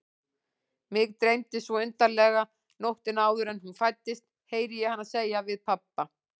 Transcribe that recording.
Mig dreymdi svo undarlega nóttina áður en hún fæddist, heyri ég hana segja við pabba.